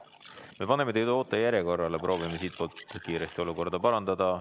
Me paneme teid ootejärjekorda, proovime siitpoolt kiiresti olukorda parandada.